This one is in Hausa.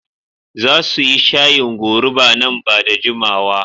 Za su yi shayin goruba nan ba da jimawa.